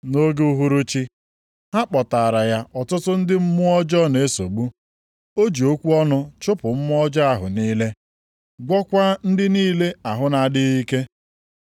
Nʼoge uhuruchi, ha kpọtaara ya ọtụtụ ndị mmụọ ọjọọ na-esogbu. O ji okwu ọnụ chụpụ mmụọ ọjọọ ahụ niile, gwọọkwa ndị niile ahụ na-adịghị ike.